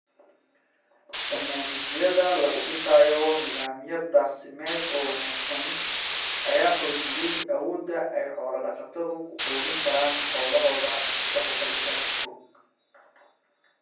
Barnaamijyada lagu dhisayo nidaamyo daaqsimeed oo wanaagsan ayaa xoojiyay awoodda ay xoola-dhaqatadu ku quudin karaan xoolahooda mustaqbalka fog.